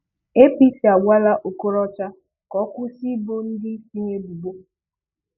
APC agwala Okorocha ka ọkwụsị ibo ndị isi ha ebubo.